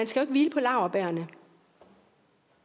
skal hvile på laurbærrene